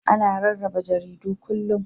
Ana rarraba jaridu kullum.